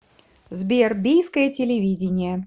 сбер бийское телевидение